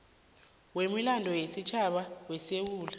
wemilando yesitjhaba wesewula